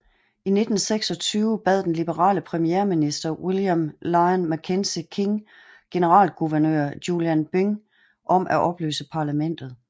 I 1926 bad den liberale premierminister William Lyon Mackenzie King generalguvernør Julian Byng om at opløse parlamentet